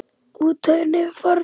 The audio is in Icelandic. Útförin hefur farið fram.